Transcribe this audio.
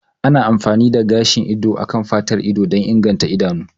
Ana amfani da gashin ido a kan fatar ido don inganta idanu